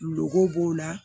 Goko b'o la